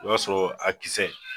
O y'a sɔrɔ a kisɛ.